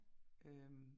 Øh